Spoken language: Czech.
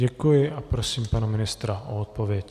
Děkuji a prosím pana ministra o odpověď.